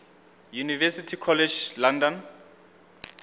university college london